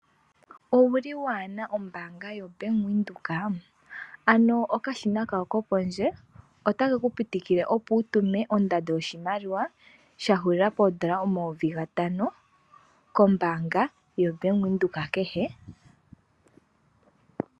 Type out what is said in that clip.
Owu li i waa na ombaanga yoBank Windhoek ? Ano Okashina kawo ko pondje otake ku pitikile, opo wu tume ondando yoshimaliwa sha hulila poondola omayovi gatano, kombaanga yoBank Windhoek kehe.